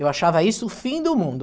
Eu achava isso o fim do mundo.